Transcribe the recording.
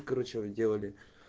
короче вы делали